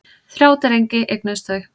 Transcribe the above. Þrjá drengi eignuðust þau.